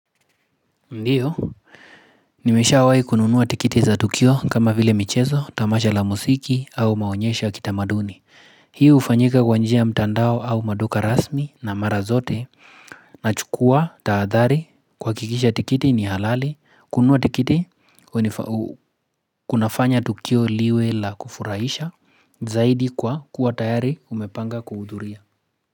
Ndiyo, nimeshawai kununuwa tikiti za tukio kama vile michezo, tamasha la musiki au maonyesha ya kitamaduni. Hii ufanyika kwanjia mtandao au maduka rasmi na mara zote na chukua, taadhari, kwa kikisha tikiti ni halali, kununuwa tikiti, kunafanya tukio liwe la kufuraisha, zaidi kwa kuwa tayari umepanga kuhuduria.